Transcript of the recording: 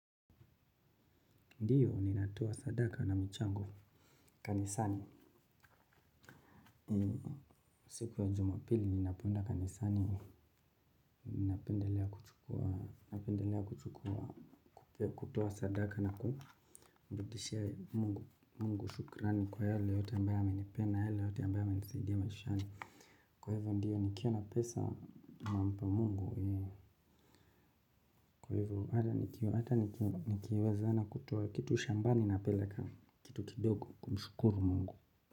Ndiyo, ninatoa sadaka na michango kanisani. Siku ya jumapili, ninapoenda kanisani. Napendelea kuchukua, kutoa sadaka na kumrudishia Mungu Mungu shukrani kwa yale yote ambayo amenipa, na yale yote ambayo amenisaidia maishani. Kwa hivyo, ndiyo, nikiwa na pesa nampa Mungu, kwa hivyo, hata nikiwezana kutoa kitu shambani napeleka, kitu kidogo, kumshukuru Mungu.